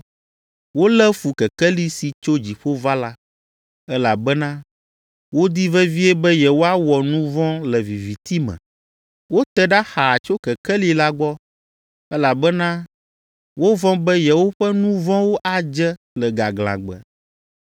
Wolé fu Kekeli si tso dziƒo va la, elabena wodi vevie be yewoawɔ nu vɔ̃ le viviti me. Wote ɖa xaa tso Kekeli la gbɔ, elabena wovɔ̃ be yewoƒe nu vɔ̃wo adze le gaglãgbe.